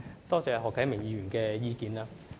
多謝何啟明議員的意見。